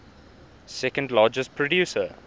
second largest producer